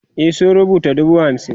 e sun rubuta dubu hamsin